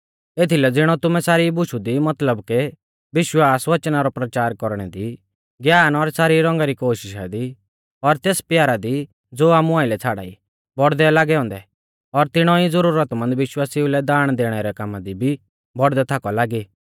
एथीलै ज़िणौ तुमै सारी बुशु दी मतलब के विश्वास वचना रौ परचार कौरणै दी ज्ञान और सारी रौंगा री कोशिषा दी और तेस प्यारा दी ज़ो आमु आइलै छ़ाड़ाई बौड़दै लागै औन्दै और तिणौ ई ज़ुरतमंद विश्वासिऊ लै दाण दैणै रै कामा दी भी बौड़दै थाकौ लागी